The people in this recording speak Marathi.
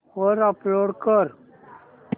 वर अपलोड कर